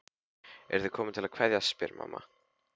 Eruð þið komin til að kveðja, spyr mamma.